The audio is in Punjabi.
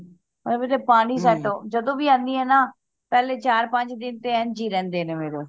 ਪਾਣੀ set ਜਦੋ ਵੀ ਆਣੀਆਂ ਨਾ ਪਹਿਲੇ ਚਾਰ ਪੰਜ ਦਿਨ ਇੰਝ ਹੀ ਰਹਿੰਦੇ ਨੇ ਮੇਰੇ